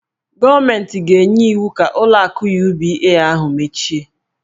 Gọọmentị ga-enye iwu ka ụlọ akụ UBA ahụ mechie.